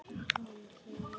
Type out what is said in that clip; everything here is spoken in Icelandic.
Þú ferð ekki framhjá honum.